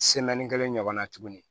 kelen ɲɔgɔn na tuguni